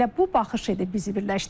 Elə bu baxış idi bizi birləşdirən.